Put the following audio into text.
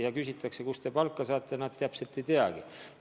Kui küsitakse, kust te palka saate, siis nad täpselt ei teagi.